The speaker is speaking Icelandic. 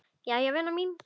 Jæja vina mín.